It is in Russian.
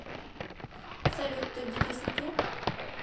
салют ты в депрессняке